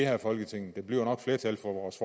her folketing der bliver nok flertal for vores